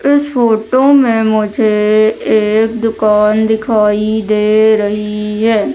इस फोटो में मुझे एक दुकान दिखाई दे रही है।